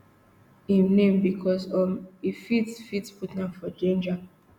im name becos um e fit fit put am for danger